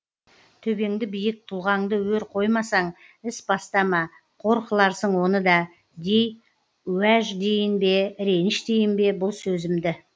төбеңді биік тұлғаңды өр қоймасаң іс бастама қор қыларсың оны да дей уәж дейін бе реніш дейін бе бұл сөзімді